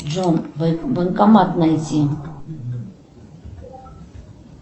джон банкомат найди